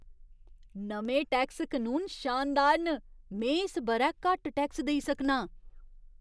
नमें टैक्स कनून शानदार न ! में इस ब'रै घट्ट टैक्स देई सकनां!